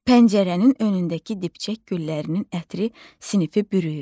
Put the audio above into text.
Pəncərənin önündəki dibçək güllərinin ətri sinifi bürüyüb.